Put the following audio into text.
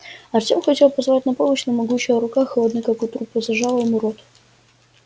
артём хотел позвать на помощь но могучая рука холодная как у трупа зажала ему рот